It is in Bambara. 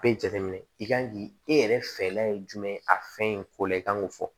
Bɛɛ jateminɛ i kan k'i e yɛrɛ fɛla ye jumɛn a fɛn in ko la i kan k'o fɔ